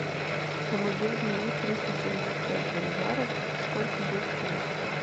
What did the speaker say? помоги обменять триста семьдесят пять боливаров сколько будет стоить